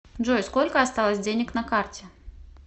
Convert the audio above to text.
джой сколько осталось денег на карте